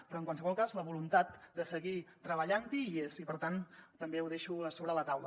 però en qualsevol cas la voluntat de seguir treballant hi hi és i per tant també ho deixo sobre la taula